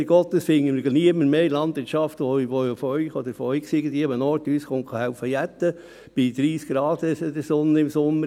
Leider Gottes finden wir in der Landwirtschaft niemanden mehr, von Ihnen oder von irgendwoher, der uns beim Jäten helfen kommt, bei 30 Grad in der Sonne im Sommer.